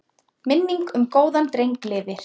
Minning um góðan dreng lifir.